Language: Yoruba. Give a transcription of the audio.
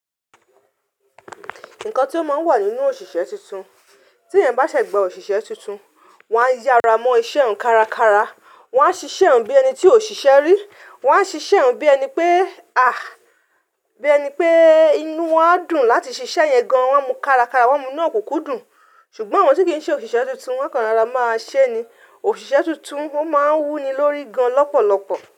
Nǹkan tí ó máa ń wà nínú òṣìṣẹ́ tuntun, tí ẹ̀yań bá ṣẹ̀ gbà òṣìṣẹ́ tuntun, wọ́n á yára mọ iṣẹ́ òun kárakára, wọ́n a ṣiṣẹ́ òun bí ẹni tí ò ṣìṣẹ́ rí, wọ́n a ṣiṣẹ́ òun bí ẹni pé à, bí ẹni pé inú wọ́n á dùn láti ṣiṣẹ́ ẹ̀ yẹn gan, wọ́n mú kárakára, wọ́n mú ni òkúkú dùn. Ṣùgbọ́n àwọn tí kì í ṣe òṣìṣẹ́ tuntun, wọ́n kàn rara máa ṣé ni. Òṣìṣẹ́ tuntun ó máa wú ni lórí gan lọ́pọ̀lọ́pọ̀.